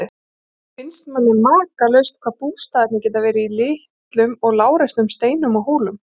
Oft finnst manni makalaust hvað bústaðirnir geta verið í litlum og lágreistum steinum og hólum.